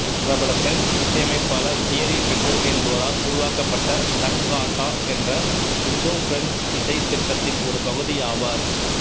பிரபல பிரெஞ்சு இசையமைப்பாளர் Thierry Pecou என்பவரால் உருவாக்கப்பட்ட சங்காட்டா என்ற இந்தோபிரெஞ்சு இசை திட்டத்தின் ஒரு பகுதியாவார்